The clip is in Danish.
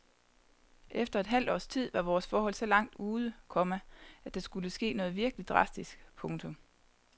Efter et halvt års tid var vores forhold så langt ude, komma at der skulle ske noget virkelig drastisk. punktum